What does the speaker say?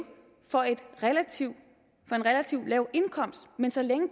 for en relativt lav indkomst men så længe